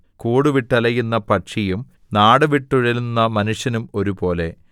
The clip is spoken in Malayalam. കൂടുവിട്ടലയുന്ന പക്ഷിയും നാടു വിട്ടുഴലുന്ന മനുഷ്യനും ഒരുപോലെ